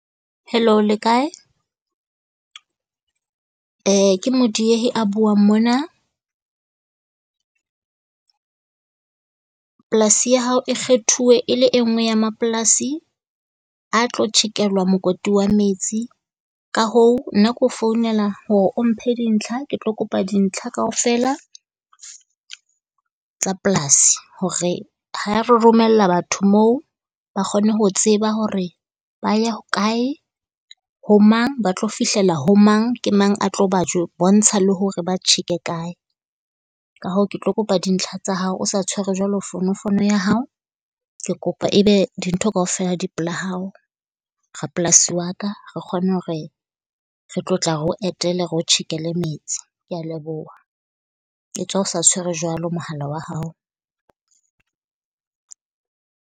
Hello le kae? ke Modiehi a buang mona. Polasi ya hao e kgethuwe e le e en gwe ya mapolasi a tlo tjhekelwa mokoti wa metsi, ka hoo nna ke o founela hore o mphe dintlha. Ke tlo kopa dintlha kaofela tsa polasing hore ha re romella batho moo ba kgone ho tseba hore ba ya hokae, ho mang, ba tlo fihlela ho mang, ke mang a tlo ba jo bontsha hore ba tjheke kae. Ka hoo ke tlo kopa dintlha tsa hao, o sa tshwere jwalo fonofono ya hao. Ke kopa e be dintho kaofela di pela hao, rapolasi wa ka. Re kgone hore re tlo tla re o etele re o tjhekele metsi. Kea leboha, e tswa o sa tshwere jwalo mohala wa hao.